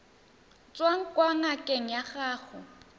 tswang kwa ngakeng ya gago